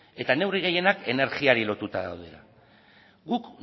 eta neurri gehienak energiari lotuta daude guk